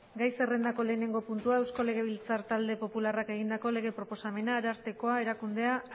gai zerrendako lehenengo puntua eusko legebiltzar talde popularrak egindako lege proposamena ararteko erakundea